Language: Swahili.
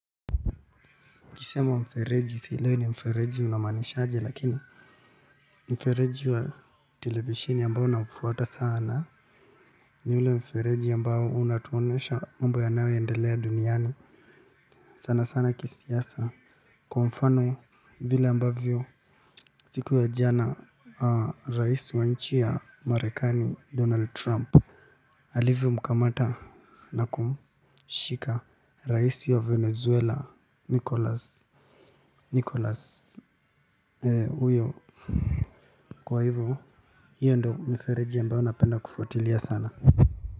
Ukisema mfereji sielewi ni mfereji unamanishaje lakini mfereji wa televisheni ambao na mfata sana. Ni ule mfereji ambao unatuonesha mambo yanayo endelea duniani sana sana kisiasa. Kwa mfano vile ambavyo siku ya jana raisi wa nchi ya marekani donald trump alivyo mkamata nakumshika raisi wa venezuela nikolas nikolas huyo kwa hivyo hiyo ndio mifereji mambayo napenda kufuatilia sana.